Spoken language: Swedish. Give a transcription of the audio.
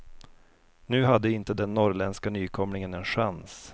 Nu hade inte den norrländska nykomlingen en chans.